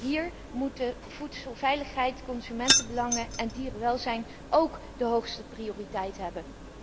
Hier moeten voedselveiligheid, consumentenbelangen en dierenwelzijn ook de hoogste prioriteit hebben.